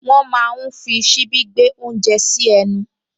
Wọ́n máa ń fi ṣíbí gbé oúnjẹ sí ẹnu